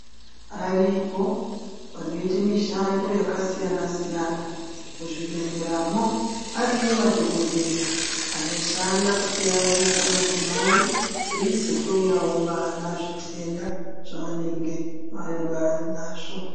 Aripo vanoite mushando yakasiyana siyana muzvibhehlera mwo ariyo madhokodheya anoshanda kutarisa madzimai eizohloyawo vana zvitenda zvavanenge vanazvo.